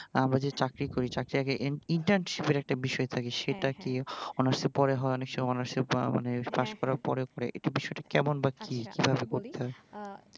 আমরা যে চাকরি করি চাকরির আগে internship এর একটা বিষয় থাকে সেটা কি honours এর পরে হয় অনেক সময় honours পরে মানে houours পাশ করার পরে পরে একটু বিষয়টা কেমন বা কি, কিভাবে করতে হয়?